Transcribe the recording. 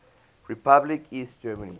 republic east germany